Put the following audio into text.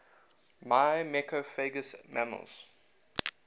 myrmecophagous mammals